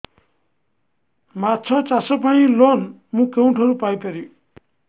ମାଛ ଚାଷ ପାଇଁ ଲୋନ୍ ମୁଁ କେଉଁଠାରୁ ପାଇପାରିବି